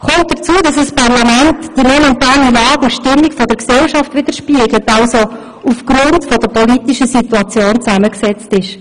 Hinzu kommt, dass ein Parlament die momentane Lage und Stimmung einer Gesellschaft wiederspiegelt, also aufgrund der politischen Situation zusammengesetzt ist.